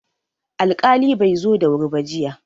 Alƙali bai zo da wuri ba jiya.